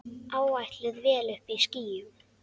Áætluð vél uppí skýjum.